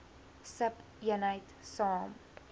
sub eenheid saam